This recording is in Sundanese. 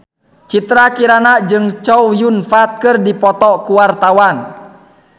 Citra Kirana jeung Chow Yun Fat keur dipoto ku wartawan